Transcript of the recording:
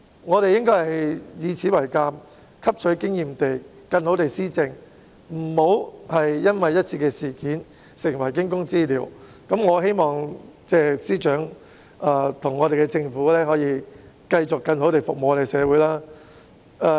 我們應該以此為鑒，汲取經驗後更好地施政，切勿因為一次事件而成為驚弓之鳥，我希望司長和政府可以繼續更好地服務社會。